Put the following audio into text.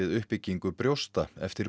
uppbyggingu brjósta eftir